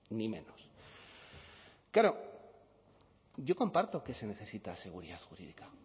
ni menos claro yo comparto que se necesita seguridad jurídica